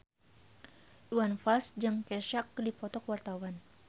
Iwan Fals jeung Kesha keur dipoto ku wartawan